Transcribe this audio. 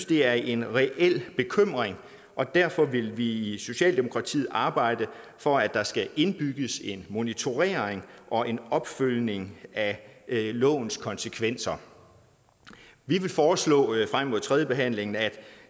det er en reel bekymring og derfor vil vi i socialdemokratiet arbejde for at der skal indbygges en monitorering og en opfølgning af lovens konsekvenser vi vil foreslå frem mod tredjebehandlingen at